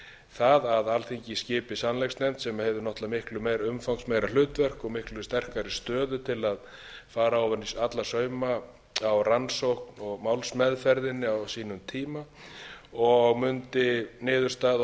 það að alþingi skipi sannleiksnefnd sem hefði náttúrlega miklu meiri umfangsmeira hlutverk og miklu sterkari stöðu til a bara ofan í alla sauma á rannsókn og málsmeðferðinni á sínum tíma og mundi niðurstaða